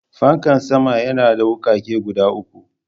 Fankan sama yana da wukake guda uku.